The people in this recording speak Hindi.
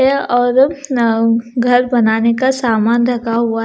यह औरत अ घर बनाने का सामान रखा हुआ--